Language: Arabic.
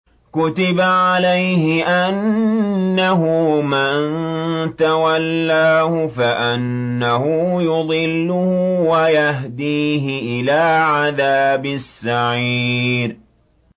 كُتِبَ عَلَيْهِ أَنَّهُ مَن تَوَلَّاهُ فَأَنَّهُ يُضِلُّهُ وَيَهْدِيهِ إِلَىٰ عَذَابِ السَّعِيرِ